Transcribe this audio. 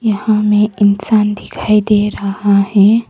यहां हमें इंसान दिखाई दे रहा है।